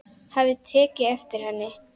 Hafði tekið eftir henni.